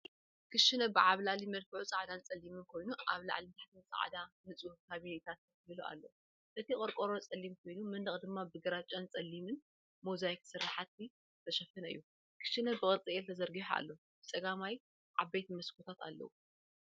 ክሽነ ብዓብላሊ መልክዑ ጻዕዳን ጸሊምን ኮይኑ፡ ኣብ ላዕልን ታሕትን ጻዕዳ ንጹህ ካቢነታት ተተኺሉ ኣሎ። እቲ ቆርቆሮ ጸሊም ኮይኑ፡ መንደቕ ድማ ብግራጭን ጸሊምን ሞዛይክ ስርሓት ዝተሸፈነ እዩ። ክሽነ ብቅርጺ 'L' ተዘርጊሑ ኣሎ። ብጸጋም ዓበይቲ መስኮታት ኣለዉ።